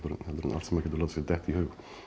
en allt sem maður getur látið sér detta í hug